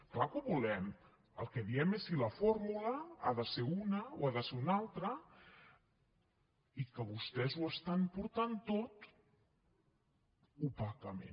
clar que ho volem el que diem és si la fórmula ha de ser una o ha de ser una altra i que vostès ho estan portant tot opacament